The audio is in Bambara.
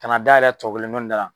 Ka na dayɛlɛ tɔ kelen dɔ in da la.